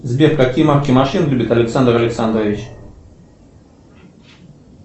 сбер какие марки машин любит александр александрович